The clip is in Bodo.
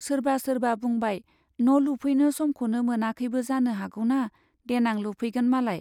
सोरबा सोरबा बुंबाय , न' लुफैनो समखौनो मोनाखैबो जानो हागौना, देनां लुफैगोन मालाय।